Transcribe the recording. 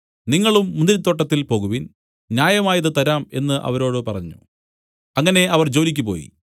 നിങ്ങളും മുന്തിരിത്തോട്ടത്തിൽ പോകുവിൻ ന്യായമായത് തരാം എന്നു അവരോട് പറഞ്ഞു അങ്ങനെ അവർ ജോലിയ്ക്കുപോയി